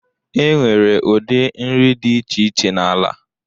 E nwere ụdị nri dị iche iche n'ala.